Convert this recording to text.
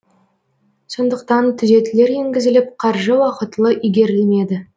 сондықтан түзетулер енгізіліп қаржы уақытылы игерілмеді